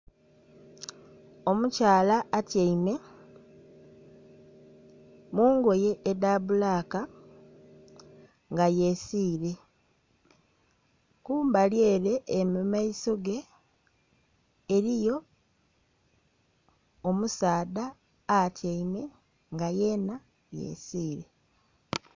Omukyala atyaime mungoye edha bbulaka nga yesiire kumbali ere, ere mumaiso ge eriyo omusaadha atyaime nga yeena yesiire.